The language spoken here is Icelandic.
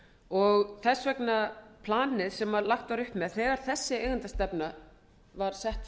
og þess vegna planið sem lagt var upp með þegar þessi eigendastefna var sett